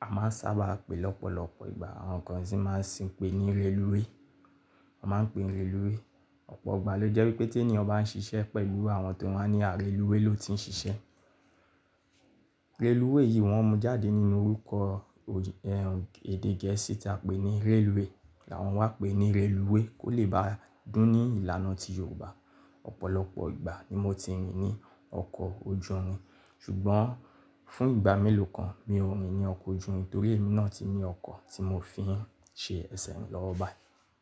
A máa ń sábà pè é lọ́pọ̀lọpọ̀ ìgbà, àwọn kan sì máa ń sìn pé ní rélúwè. Wọ́n máa ń pe rélúwè. Ọ̀pọ̀ ìgbà ló jẹ́ wípé tí ènìyàn bá ń ṣiṣẹ́ pẹ̀lú àwọn tó wá ní ààrẹ lúwẹ̀ẹ́ ló ti ń ṣiṣẹ́. Rélúwè yìí wọ́n mú jáde nínú orúkọ, ẹ́, èdè Gẹ̀ẹ́sì táa pè ní railway làwọn wá pè ní rélúwè kó lè bá dún ní ìlànà ti Yorùbá. Ọ̀pọ̀lọpọ̀ ìgbà ni mo ti rìn ní ọkọ̀ ojú irin, ṣùgbọ́n fún ìgbà mélòó kan mi ò rìn ní ọkọ̀ ojú irin torí èmi náà ti ní ọkọ̀ tí mo fi ń ṣe ẹsẹ̀ rin lọ ọ́ bàí.